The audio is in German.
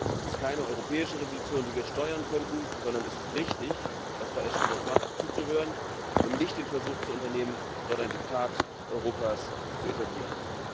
Es ist keine europäische Revolution, die wir steuern könnten, sondern es ist richtig, was Frau Ashton dort macht, nämlich zuzuhören und nicht den Versuch zu unternehmen, dort ein Diktat Europas zu etablieren.